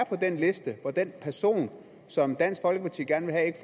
den liste hvor den person som dansk folkeparti gerne vil have ikke